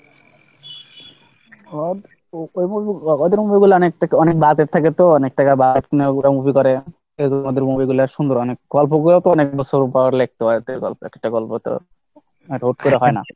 হ্যাঁ, ওই movie গুলো ওদের movie গুলো budget থাকে তো অনেক টাকা budget নিয়ে ওরা movie করে ওদের movie গুলা সুন্দর অনেক, গল্প করে তো অনেক বছর পর লিখতে হয়, গল্প একটা গল্প তো এক বছর ধরে হয় না।